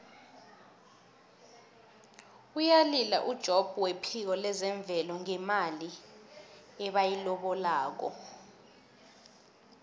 uyalila ujobb wephiko lezemvelo ngemali ebayilobako